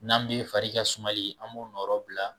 N'an bɛ fari ka sumani an b'o nɔrɔbila